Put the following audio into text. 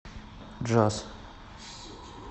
джаз